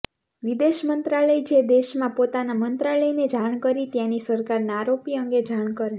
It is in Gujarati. વિદેશ મંત્રાલય જે તે દેશમાં પોતાના મંત્રાલયને જાણ કરી ત્યાંની સરકારને આરોપી અંગે જાણ કરે